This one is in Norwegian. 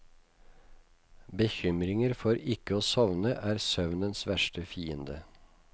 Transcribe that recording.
Bekymringer for ikke å sovne er søvnens verste fiende.